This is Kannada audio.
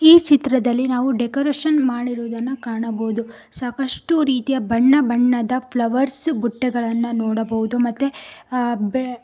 ಈ ಚಿತ್ರದಲ್ಲಿ ನಾವು ಡೆಕೋರೇಷನ್ ಮಾಡಿರುವುದನ್ನು ಕಾಣಬಹುದು ಸಾಕಷ್ಟು ರೀತಿಯ ಬಣ್ಣ ಬಣ್ಣದ ಫ್ಲವರ್ಸ್ ಬುಟ್ಟಗಳನ್ನು ನೋಡಬಹುದು ಮತ್ತೆ ಅ ಬೇ --